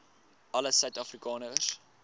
alle suid afrikaners